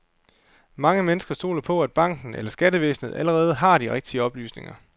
Mange mennesker stoler på, at banken eller skattevæsenet allerede har de rigtige oplysninger.